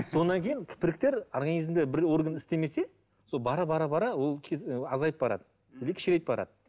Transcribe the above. содан кейін организмде бір орган істемесе сол бара бара бара ол азайып барады или кішірейіп барады